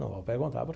Não vão perguntar por.